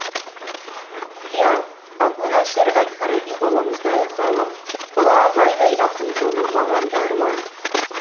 иә әбу нәсір әл фараби бабамыздай ғалым ұлы абайдай ақын болу маған да арман